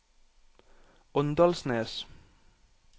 Åndalsnes